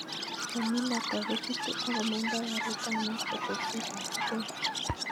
Konyil ata kochutu ak komondo garit ab maat keteshet ab voi